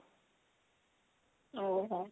ଓଃ ହୋ